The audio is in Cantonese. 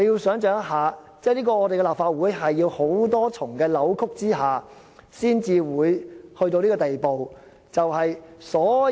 想象一下，這是立法會在多重扭曲下才會走到這個地步。